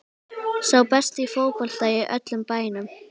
Sá besti í fótbolta í öllum bænum.